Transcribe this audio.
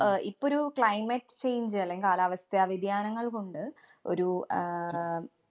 അഹ് ഇപ്പൊ ഒരു climate change അല്ലെങ്കി കാലാവസ്ഥ വ്യതിയാനങ്ങള്‍ കൊണ്ട് ഒരു ആഹ്